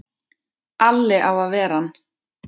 Alli á að ver ann!